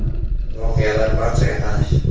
Voqealar barchaga tanish.